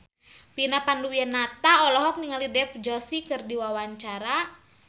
Vina Panduwinata olohok ningali Dev Joshi keur diwawancara